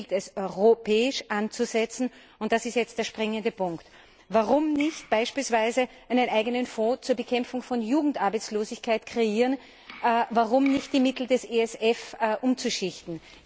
Hier gilt es, europäisch anzusetzen, und das ist jetzt der springende Punkt Warum nicht beispielsweise einen eigenen Fonds zur Bekämpfung von Jugendarbeitslosigkeit kreieren, warum nicht die Mittel des ESF umschichten?